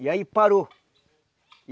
E aí parou.